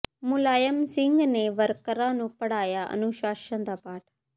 ਮੁਲਾਇਮ ਸਿੰਘ ਨੇ ਵਰਕਰਾਂ ਨੂੰ ਪੜ੍ਹਾਇਆ ਅਨੁਸ਼ਾਸਨ ਦਾ ਪਾਠ